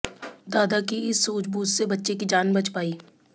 दादा की इस सूझबूझ से बच्ची की जान बच पाई